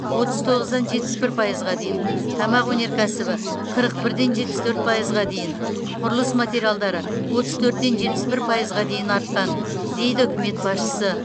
отыз тоғыздан жетпіс бір пайызға дейін тамақ өнеркәсібі қырық бірден жетпіс төрт пайызға дейін құрылыс материалдары отыз төрттен жетпіс бір пайызға дейін артқан дейді үкімет басшысы